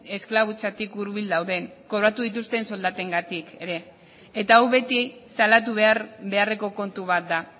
esklabutzatik hurbil dauden kobratu dituzten soldatengatik ere eta hau beti salatu beharreko kontu bat da